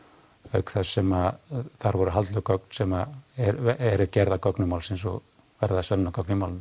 auk þess sem þar voru haldlögð gögn sem eru gerð að gögnum málsins og verða sönnunargögn í málinu